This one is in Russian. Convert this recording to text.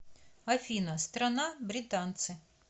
афина страна британцы